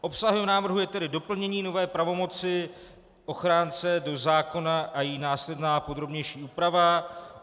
Obsahem návrhu je tedy doplnění nové pravomoci ochránce do zákona a její následná podrobnější úprava.